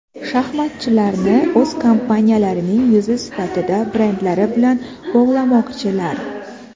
Shaxmatchilarni o‘z kompaniyalarining yuzi sifatida brendlari bilan bog‘lamoqchilar.